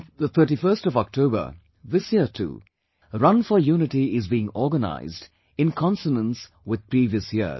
On 31st October, this year too 'Run for Unity' is being organized in consonance with previous years